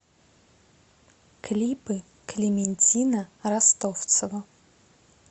клипы клементина ростовцева